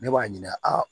Ne b'a ɲininka aa